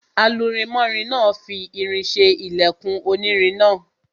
Alurinmọ́rin náà fi irin ṣe ilẹkùn onírin náà.